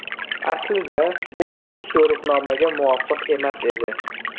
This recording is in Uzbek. Aslida, bu maxsus yo‘riqnomaga muvofiq emas edi.